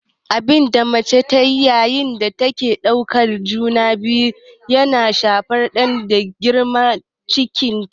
Abinda mace taci yayin da take ɗauke da juna biyu yana shafar ɗan da ke girma a cikinta